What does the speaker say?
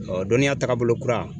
Ɔɔ dɔnniya tagabolo kura